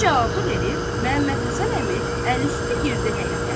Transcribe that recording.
Bu cavabı verib Məhəmməd Həsən əmi əlüstü girdi həyətə.